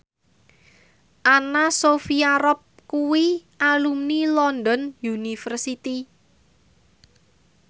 Anna Sophia Robb kuwi alumni London University